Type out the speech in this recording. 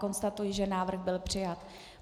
Konstatuji, že návrh byl přijat.